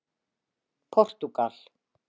Portúgal